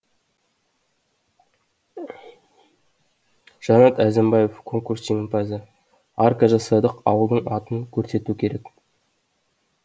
жанат әзімбаев конкурс жеңімпазы арка жасадық ауылдың атын көрсету керек